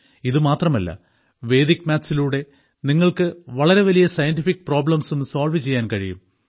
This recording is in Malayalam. ഇതുമാത്രമല്ല വേദിക് മാത്സിലൂടെ നിങ്ങൾക്ക് വളരെ വലിയ സയന്റിഫിക് പ്രോബ്ലംസും സോൾവ് ചെയ്യാൻ കഴിയും